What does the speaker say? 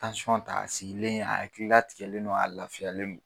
ta a sigilen a hakili latigɛlen don a lafiyalen no